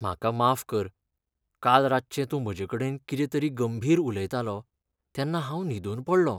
म्हाका माफ कर, काल रातचें तूं म्हजे कडेन कितें तरी गंभीर उलयतालो तेन्ना हांव न्हिदून पडलों.